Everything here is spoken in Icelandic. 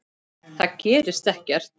Það gerist ekkert.